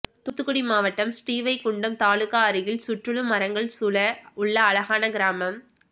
தூத்துக்குடி மாவட்டம் ஸ்ரீவைகுண்டம் தாலுகா அருகில் சுற்றுலும் மரங்கள் சுழ உள்ள அழகான கிராமம்